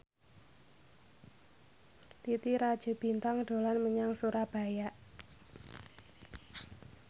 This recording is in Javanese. Titi Rajo Bintang dolan menyang Surabaya